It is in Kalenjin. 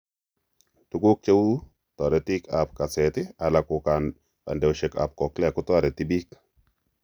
Tuguk cheuu toretik ab kaseet ala ko kandeosiek ab cochlea kotoreti biik